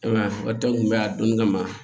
I m'a ye o tɛ kunbɛ a donni kama